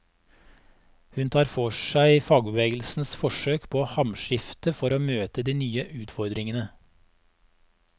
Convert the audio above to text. Hun tar for seg fagbevegelsens forsøk på hamskifte for å møte de nye utfordringene.